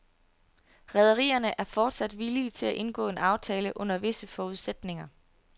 Rederierne er fortsat villige til at indgå en aftale under visse forudsætninger.